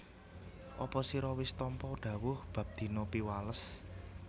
Apa sira wis tampa dhawuh bab dina Piwales